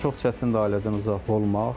Çox çətindir ailədən uzaq olmaq.